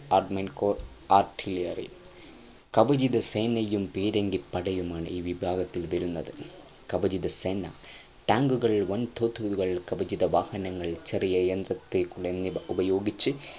armoured crop artillery കവചിത സേനയും പീരങ്കിപ്പടയുമാണ് ഈ വിഭാഗത്തിൽ വരുന്നത് കവചിത സേന tank ഉകൾ വൻതോതുകൾ കവചിതവാഹനങ്ങൾ ചെറിയ യന്ത്രതോക്കുകൾ എന്നിവ ഉപയോഗിച്ചു